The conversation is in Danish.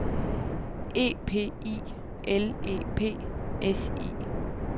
E P I L E P S I